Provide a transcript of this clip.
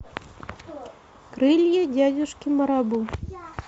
крылья дядюшки марабу